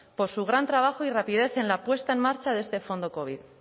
por su gran trabajo y rapidez en la puesta en marcha de este fondo covid